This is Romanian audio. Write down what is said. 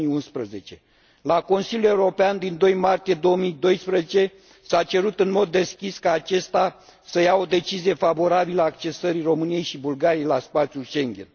2011. La Consiliul European din 2 martie 2012 s a cerut în mod deschis ca acesta să ia o decizie favorabilă accesării României și Bulgariei la spațiul Schengen.